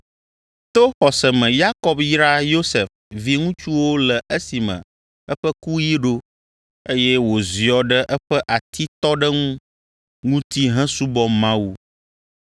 To xɔse me Yakob yra Yosef viŋutsuwo le esime eƒe kuɣi ɖo, eye wòziɔ ɖe eƒe atitɔɖeŋu ŋuti hesubɔ Mawu.